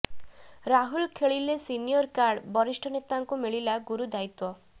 ରାହୁଲ ଖେଳିଲେ senior card ବରିଷ୍ଠ ନେତାଙ୍କୁ ମିଳିଲା ଗୁରୁ ଦାୟିତ୍ୱ